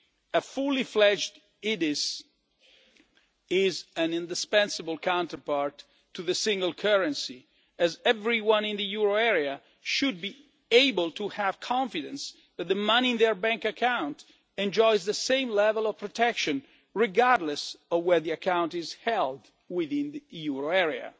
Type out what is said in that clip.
A fully fledged EDIS is an indispensable counterpart to the single currency as everyone in the euro area should be able to have confidence that the money in their bank account enjoys the same level of protection, regardless of where the account is held within the euro